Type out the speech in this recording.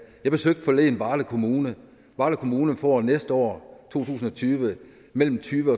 jeg besøgte forleden varde kommune varde kommune får næste år i to tusind og tyve mellem tyve